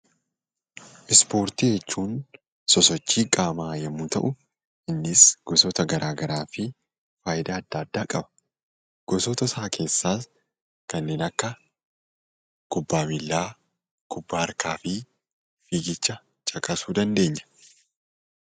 Ispoortii jechuun sosochii qaamaa yammuu ta'u; innis gosoota garaa garaa fi faayidaa addaa addaa qaba. Gosoota isaa keessaas kaneen akka kubba miillaa, kubbaa harkaa fi fiigicha caqasuu ni dandeenya.